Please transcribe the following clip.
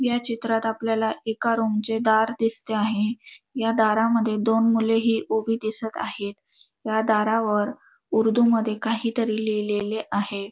या चित्रात आपल्याला एका रूम चे दार दिसते आहे या दारामध्ये दोन मुलेही उभी दिसत आहे त्या दारावर उर्दू मध्ये काहीतरी लिहिलेले आहे.